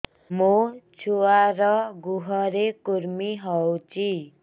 ମୋ ଛୁଆର୍ ଗୁହରେ କୁର୍ମି ହଉଚି